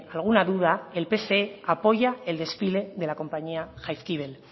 alguna duda el pse apoya el desfile de la compañía jaizkibel